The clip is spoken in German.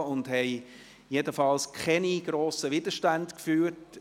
Wir schlugen es folglich vor und spürten jedenfalls keine grossen Widerstände.